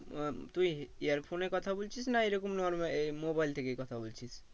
আহ তুই earphone এ কথা বলছিস না এরকম normal আহ mobile থেকে কথা বলছিস?